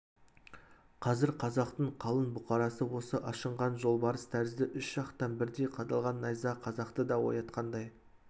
қазір қазақтың қалың бұқарасы осы ашынған жолбарыс тәрізді үш жақтан бірдей қадалған найза қазақты да оятқандай